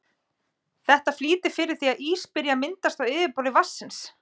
Þetta flýtir fyrir því að ís byrji að myndast á yfirborði vatnsins.